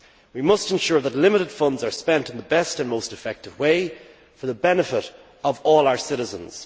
We must ensure that limited funds are spent in the best and most effective way for the benefit of all our citizens.